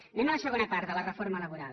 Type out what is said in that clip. anem a la segona part de la reforma laboral